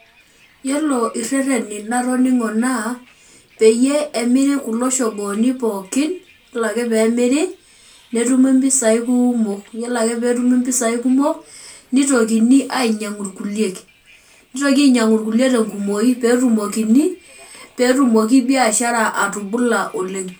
Yiolo irereni latoningo naa peyie emiri kulo shongooni pookin , yiolo ake pemiri netumi mpisai kumok , yiolo ake petumi impisai kumok nitokini ainyiangu irkulie , nitoki ainyiangu irkulie tenkumoki, petumokini, petumoki biashara atubula oleng.